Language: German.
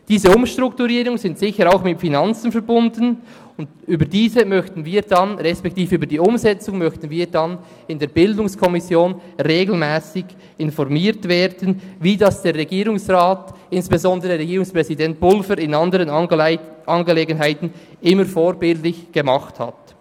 Diese Umstrukturierungen sind sicher auch mit Finanzen verbunden, und über diese beziehungsweise über die Umsetzung möchten wir dann in der BiK regelmässig informiert werden, wie dies der Regierungsrat und insbesondere Regierungspräsident Pulver in anderen Angelegenheiten immer vorbildlich getan hat.